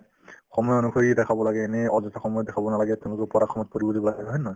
সময় অনুসৰি দেখাব লাগে এনে অযথা সময়ত দেখাব নালাগে তেওঁলোকক পঢ়াৰ সময়ত পঢ়িব দিব লাগে হয় নে নহয়